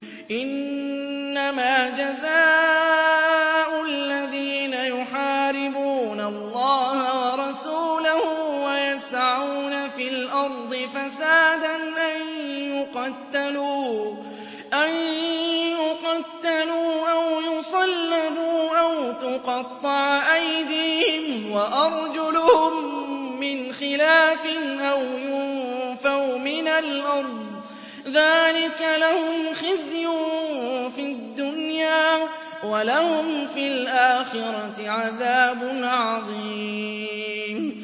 إِنَّمَا جَزَاءُ الَّذِينَ يُحَارِبُونَ اللَّهَ وَرَسُولَهُ وَيَسْعَوْنَ فِي الْأَرْضِ فَسَادًا أَن يُقَتَّلُوا أَوْ يُصَلَّبُوا أَوْ تُقَطَّعَ أَيْدِيهِمْ وَأَرْجُلُهُم مِّنْ خِلَافٍ أَوْ يُنفَوْا مِنَ الْأَرْضِ ۚ ذَٰلِكَ لَهُمْ خِزْيٌ فِي الدُّنْيَا ۖ وَلَهُمْ فِي الْآخِرَةِ عَذَابٌ عَظِيمٌ